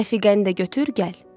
Rəfiqəni də götür gəl.